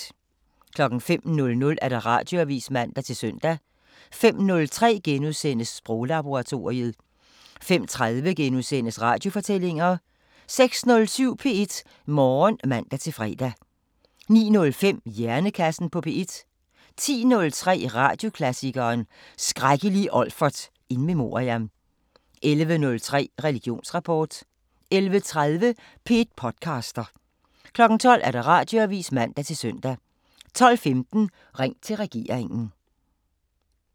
05:00: Radioavisen (man-søn) 05:03: Sproglaboratoriet * 05:30: Radiofortællinger * 06:07: P1 Morgen (man-fre) 09:05: Hjernekassen på P1 10:03: Radioklassikeren: Skrækkelige Olfert in memoriam 11:03: Religionsrapport 11:30: P1 podcaster 12:00: Radioavisen (man-søn) 12:15: Ring til regeringen